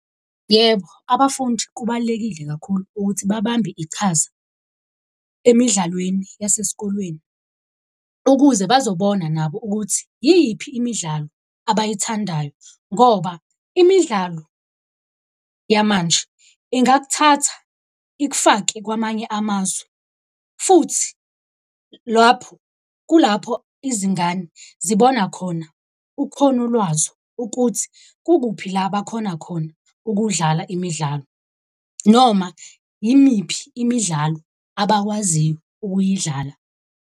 Yebo, abafundi kubalulekile kakhulu ukuthi babambe iqhaza emidlalweni yasesikolweni. Ukuze bazobona nabo ukuthi yiphi imidlalo abayithandayo, ngoba imidlalo yamanje ingakuthatha ikufake kwamanye amazwe. Futhi lapho kulapho izingane zibona khona ukhono lwazo ukuthi kukuphi la abakhona khona ukudlala imidlalo. Noma yimiphi imidlalo abakwaziyo ukuyidlala.